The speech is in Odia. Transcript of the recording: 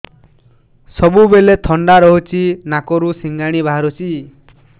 ସବୁବେଳେ ଥଣ୍ଡା ରହୁଛି ନାକରୁ ସିଙ୍ଗାଣି ବାହାରୁଚି